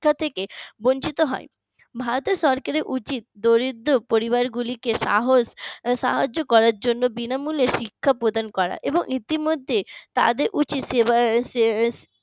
শিক্ষা থেকে বঞ্চিত হয় ভারতের সরকারের উচিত দরিদ্র পরিবারগুলিকে সাহস সাহায্য করার জন্য বিনামূল্যে শিক্ষা প্রদান করা এবং ইতিমধ্যে তাদের উচিত সেবা সে